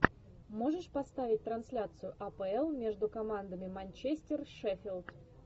можешь поставить трансляцию апл между командами манчестер шеффилд